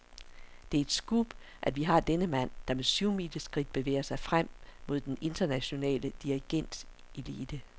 Det er et scoop, at vi har denne mand, der med syvmileskridt bevæger sig frem mod den internationale dirigentelite.